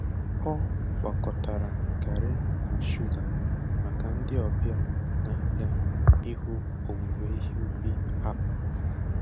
O gwakọtara garri na shuga maka ndị ọbịa na-abịa ịhụ owuwe ihe ubi akpu.